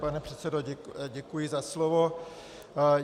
Pane předsedo, děkuji za slovo.